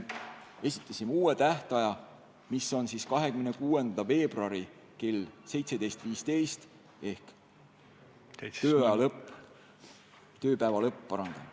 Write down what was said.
Esitame uue tähtaja, mis on 26. veebruar kell 17.15 ehk siis tööpäeva lõpp.